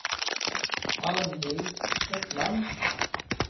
Arnhild Hetland